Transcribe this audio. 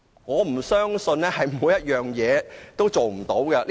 我不相信政府對有關要求也不能做到。